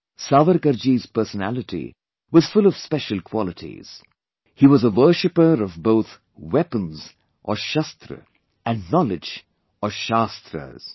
Savarkar ji's personality was full of special qualities; he was a worshipper of both weapons or shashtra and Knowledge or shaashtras